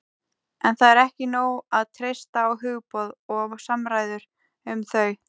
En það er ekki nóg að treysta á hugboð og samræður um þau.